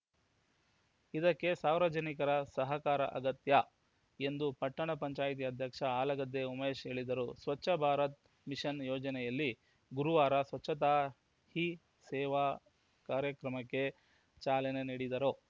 ಇದಕ್ಕೆ ಸಾವೀರ ಜನಿಕರ ಸಹಕಾರ ಅಗತ್ಯ ಎಂದು ಪಟ್ಟಣ ಪಂಚಾಯ್ತಿ ಅಧ್ಯಕ್ಷ ಹಾಲಗದ್ದೆ ಉಮೇಶ ಹೇಳಿದರು ಸ್ವಚ್ಛ ಭಾರತ್‌ ಮಿಷನ್‌ ಯೋಜನೆಯಲ್ಲಿ ಗುರುವಾರ ಸ್ವಚ್ಛತಾ ಹೀ ಸೇವಾ ಕಾರ್ಯಕ್ರಮಕ್ಕೆ ಚಾಲನೆ ನೀಡಿದರು